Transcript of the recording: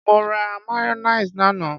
Mo ra mayonnaise lánàá.